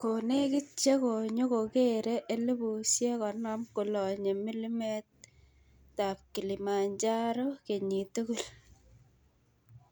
Konekit chenyokokere 50,000 kolonye mlimet Kilimanjaro kenyit tugul.